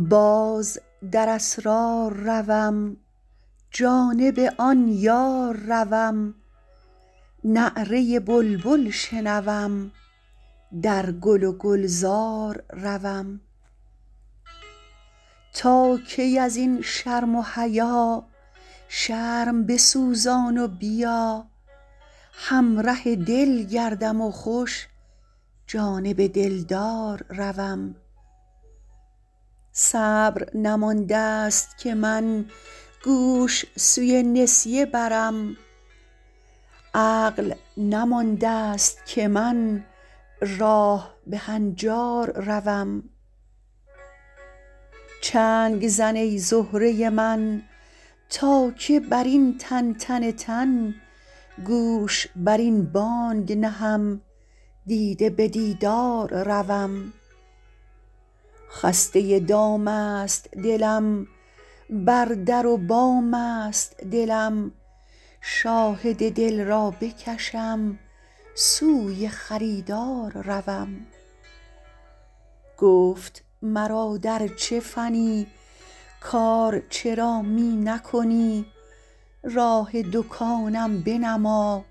باز در اسرار روم جانب آن یار روم نعره بلبل شنوم در گل و گلزار روم تا کی از این شرم و حیا شرم بسوزان و بیا همره دل گردم خوش جانب دلدار روم صبر نمانده ست که من گوش سوی نسیه برم عقل نمانده ست که من راه به هنجار روم چنگ زن ای زهره من تا که بر این تنتن تن گوش بر این بانگ نهم دیده به دیدار روم خسته دام است دلم بر در و بام است دلم شاهد دل را بکشم سوی خریدار روم گفت مرا در چه فنی کار چرا می نکنی راه دکانم بنما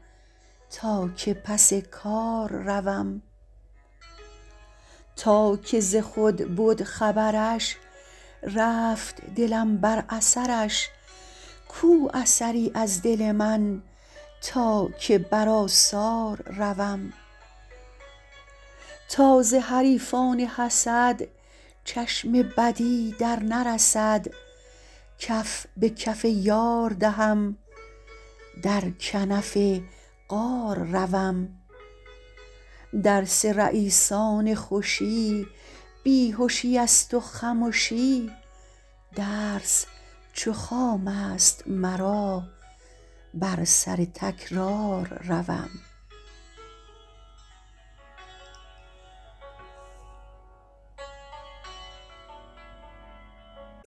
تا که پس کار روم تا که ز خود بد خبرش رفت دلم بر اثرش کو اثری از دل من تا که بر آثار روم تا ز حریفان حسد چشم بدی درنرسد کف به کف یار دهم در کنف غار روم درس رییسان خوشی بی هشی است و خمشی درس چو خام است مرا بر سر تکرار روم